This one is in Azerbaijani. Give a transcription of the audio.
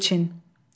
Elçin.